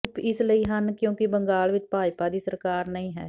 ਚੁੱਪ ਇਸ ਲਈ ਹਨ ਕਿਉਂਕਿ ਬੰਗਾਲ ਵਿਚ ਭਾਜਪਾ ਦੀ ਸਰਕਾਰ ਨਹੀਂ ਹੈ